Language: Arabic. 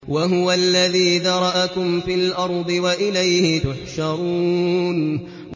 وَهُوَ الَّذِي ذَرَأَكُمْ فِي الْأَرْضِ وَإِلَيْهِ تُحْشَرُونَ